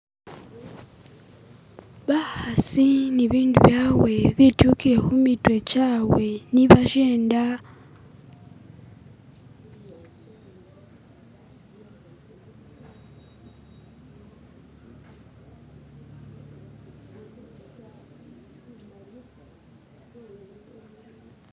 Bakhasi ni bindu byawe bitukile khumitwe chawe ni bashenda